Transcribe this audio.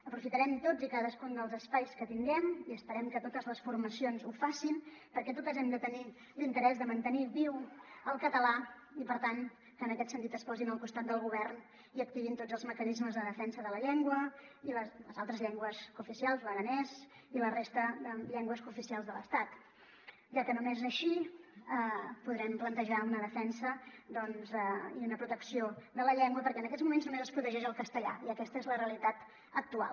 aprofitarem tots i cadascun dels espais que tinguem i esperem que totes les formacions ho facin perquè totes hem de tenir l’in·terès de mantenir viu el català i per tant que en aquest sentit es posin al costat del govern i activin tots els mecanismes de defensa de la llengua i les altres llengües cooficials l’aranès i la resta de llengües cooficials de l’estat ja que només així po·drem plantejar una defensa i una protecció de la llengua perquè en aquests moments només es protegeix el castellà i aquesta és la realitat actual